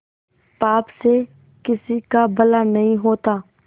पाप से किसी का भला नहीं होता